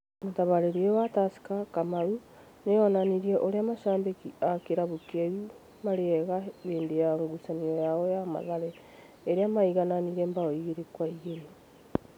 Mũtabariri ũyũ wa Tursker, Kamau, nĩ onanirie ũrĩa mashambiki a kĩrabu kĩu marĩ ega hĩndĩ ya ngucanio yao na Mathare, ĩrĩa maigananire mbaũ igĩrĩ kwa igĩrĩ